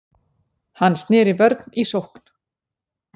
Hann sneri vörn í sókn.